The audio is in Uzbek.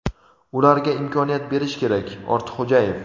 ularga imkoniyat berish kerak – Ortiqxo‘jayev.